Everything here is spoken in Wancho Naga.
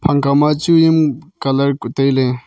phang kaw ma chu am colour kuk tailey.